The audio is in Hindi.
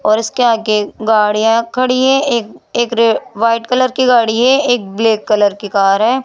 और इसके आगे गाड़ियां खड़ी हैं एक एक रे वाइट कलर की गाड़ी है एक ब्लैक कलर की कार है।